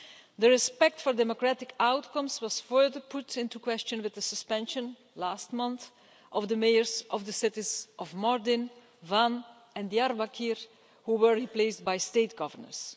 The respect for democratic outcomes was further put into question with the suspension last month of the mayors of the cities of Mardin, Van and Diyarbakir, who were replaced by state governors.